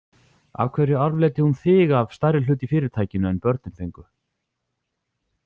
Af hverju arfleiddi hún þig af stærri hlut í fyrirtækinu en börnin fengu?